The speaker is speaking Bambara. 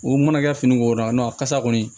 O mana kɛ fini ko la a kasa kɔni